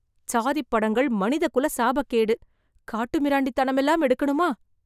சாதிப்படங்கள் மனித குல சாபக்கேடு! காட்டு மிராண்டித் தனமெல்லாம் எடுக்கனுமா